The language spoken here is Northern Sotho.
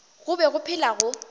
go be go phela go